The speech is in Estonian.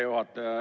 Hea juhataja!